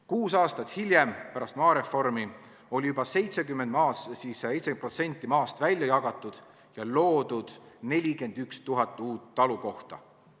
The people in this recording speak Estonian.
Kuus aastat pärast maareformi oli juba 70% maast välja jagatud ja loodud 41 000 uut talukohta.